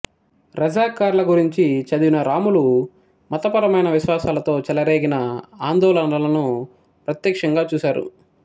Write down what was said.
రజాకార్ల గురించి చదివిన రాములు మతపరమైన విశ్వాసాలతో చెలరేగిన ఆందోళనలను ప్రత్యక్షంగా చూశారు